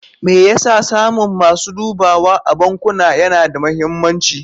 Me yasa samun masu dubawa a bankuna yana da mahimmanci?